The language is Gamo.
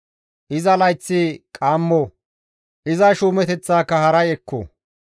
Iza layththi qaammo; iza shuumeteththaaka haray ekko!